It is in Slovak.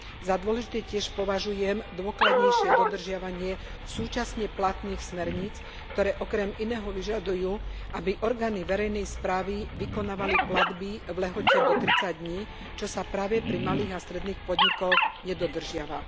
Za dôležité tiež považujem dôkladnejšie dodržiavanie súčasne platných smerníc, ktoré si okrem iného vyžadujú, aby orgány verejnej správy vykonávali platby v lehote do tridsať dní, čo sa práve pri malých a stredných podnikoch nedodržiava.